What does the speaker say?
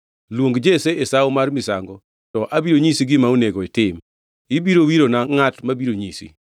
Luong Jesse e sawo mar misango, to abiro nyisi gima onego itim. Ibiro wirona ngʼat mabiro nyisi.”